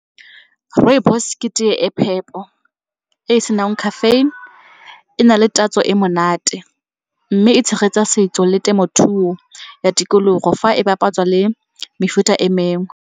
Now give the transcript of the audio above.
Rooibos ke tee e phepo e e senang caffeine, e na le tatso e monate mme e tshegetsa setso le temothuo ya tikologo fa e bapatswa le mefuta e mengwe.